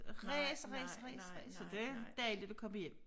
Ræs ræs ræs ræs så det dejligt at komme hjem